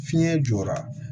Fiɲɛ jɔra